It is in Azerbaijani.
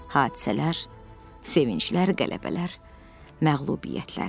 Hadisələr, sevinclər, qələbələr, məğlubiyyətlər.